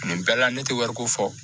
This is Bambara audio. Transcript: Nin bɛɛ la ne tɛ wariko fɔ